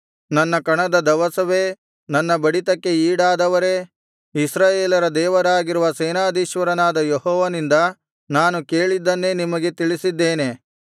ನನ್ನ ಕಣದ ದವಸವೇ ನನ್ನ ಬಡಿತಕ್ಕೆ ಈಡಾದವರೇ ಇಸ್ರಾಯೇಲರ ದೇವರಾಗಿರುವ ಸೇನಾಧೀಶ್ವರನಾದ ಯೆಹೋವನಿಂದ ನಾನು ಕೇಳಿದ್ದನ್ನೇ ನಿಮಗೆ ತಿಳಿಸಿದ್ದೇನೆ